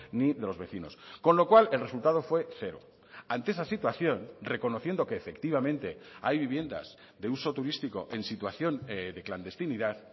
ni de los vecinos con lo cual el resultado fue cero ante esa situación reconociendo que efectivamente hay viviendas de uso turístico en situación de clandestinidad